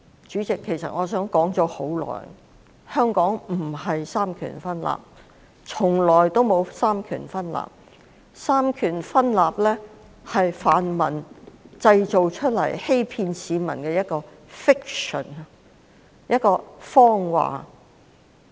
主席，其實香港並非三權分立，從來也沒有三權分立，所謂三權分立是泛民製造出來欺騙市民的 fiction。